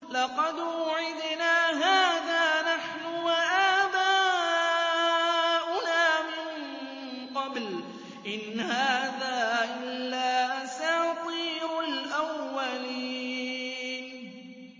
لَقَدْ وُعِدْنَا هَٰذَا نَحْنُ وَآبَاؤُنَا مِن قَبْلُ إِنْ هَٰذَا إِلَّا أَسَاطِيرُ الْأَوَّلِينَ